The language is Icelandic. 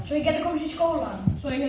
svo ég geti komist í skólann